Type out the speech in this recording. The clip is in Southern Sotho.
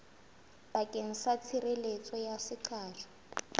bakeng sa tshireletso ya seqatjwa